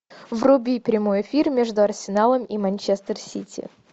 вруби прямой эфир между арсеналом и манчестер сити